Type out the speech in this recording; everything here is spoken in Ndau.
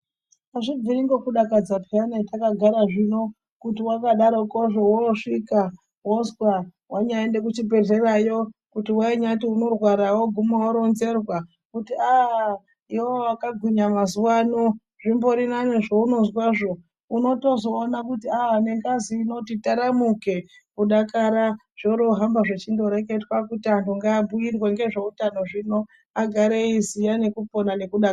Hazvibviri nekudakadza peyani takagara zvino kuti wakadarokozvo wosvikaa wozwaa , wanyaende kuzvibhedhlerayo, kuti wainyati unorwara woguma woronzerwaa kuti aaah , iwewe wakagwinya mazuvano, zvimbori nani zvouzwazvo, unotozooona kuti aahh nengazi inoti taramuke kudakara zvoiro zvohamba zvichindoreketwa kuti vantu ngavabhuyirwe ngezveutano zvino agare eiziva ngekupona ngekudakara.